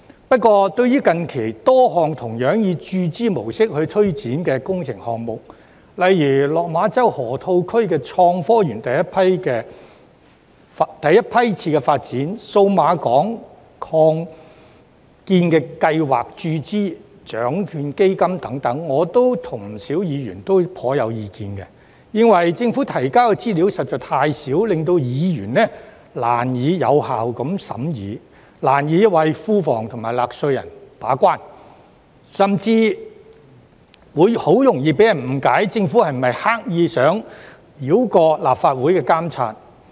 不過，對於近期多項同樣以注資模式推展的工程項目，例如落馬洲河套區港深創新及科技園第一批次發展、數碼港擴建計劃、獎券基金等，我與不少議員都頗有意見，認為政府提交的資料實在太少，令議員難以有效地審議，難以為庫房及納稅人把關，甚至很容易被人誤以為政府刻意想繞過立法會的監察。